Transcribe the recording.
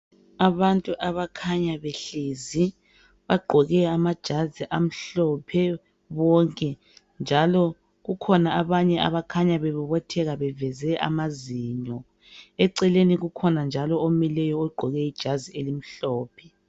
Abantu abakhanya behlezi bagqoke amajazi amhlophe bonke njalo kukhona abanye abakhanya bebobotheka beveze amazinyo eceleni ukhona njalo omileyo egqoke ijazi elimhlophe